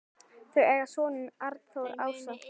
Þau eiga soninn Arnþór Ása.